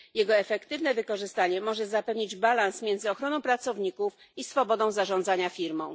Jego efektywne wykorzystanie może zapewnić równowagę między ochroną pracowników i swobodą zarządzania firmą.